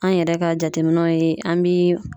An yɛrɛ ka jateminɛw ye an bi